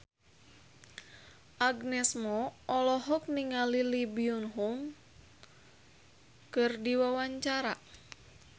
Agnes Mo olohok ningali Lee Byung Hun keur diwawancara